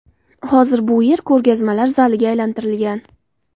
Hozir bu yer ko‘rgazmalar zaliga aylantirilgan.